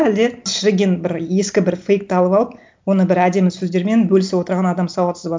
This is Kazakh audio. әлде шіріген бір ескі бір фейкті алып алып оны бір әдемі сөздермен бөлісіп отырған адам сауатсыз ба